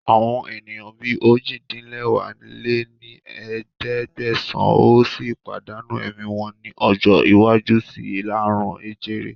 Àwọn ènìyàn bí ojì-din-lẹwá lé ní ẹ̀ẹ́dẹ́gbẹ́sán ó sì pàdánù ẹ̀mí wọn ní ọjọ́ iwájú síí aàrùn jẹjẹrẹ